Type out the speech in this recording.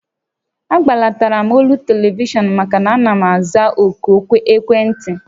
A gbatulatara m olu telivishọn maka na ana m aza òkù ekwentị